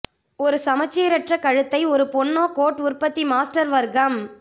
ஒரு சமச்சீரற்ற கழுத்தை ஒரு பொன்னோ கோட் உற்பத்தி மாஸ்டர் வர்க்கம்